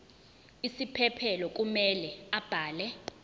isiphephelo kumele abhale